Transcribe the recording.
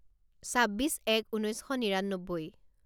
ছাব্বিছ এক ঊনৈছ শ নিৰান্নব্বৈ